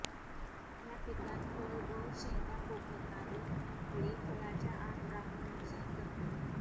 या पिकात फळ व शेंडा पोखणारी अळी फळाच्या आत राहून नुकसान करते